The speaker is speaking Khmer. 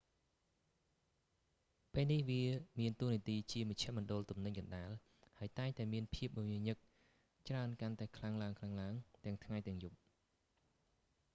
ពេលនេះវាមានតួនាទីជាមជ្ឈមណ្ឌលទំនិញកណ្តាល ហើយតែងតែមានភាពមមាញឹកច្រើនកាន់តែខ្លាំងឡើងៗទាំងថ្ងៃទាំងយប់